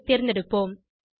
ஐ தேர்ந்தெடுப்போம்